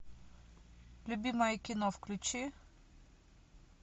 любимое кино включи